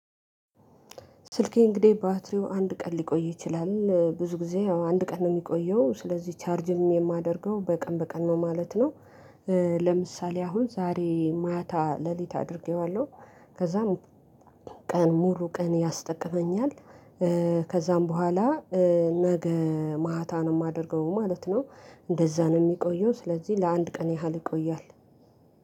ስልኬ እንግዲህ ባትሪው አንድ ቀን ሊቆይ ይችላል ብዙ ጊዜ አንድ ቀን ነው የሚቆየው ስለዚህ ቻርጅም የማደርገው በቀን በቀን ነው ማለት ነው። ለምሳሌ አሁን ዛሬ ማታ ሌሊት አድርጌዋለሁ ከዛም ቀን ሙሉ ቀን ያስጠቅመኛል። ከዛም በኋላ ነገ ማታ ነው እማደርገው ማለት ነው። እንደዛ ነው የሚቆየው ስለዚህ ለአንድ ቀን ያህል ይቆያል።